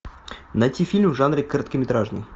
найти фильм в жанре короткометражный